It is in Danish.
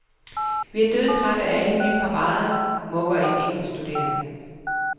Vi er dødtrætte af alle de parader, mukker en engelskstuderende.